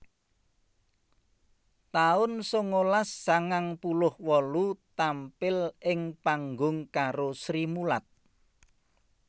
taun sangalas sangang puluh wolu tampil ing pangung karo Srimulat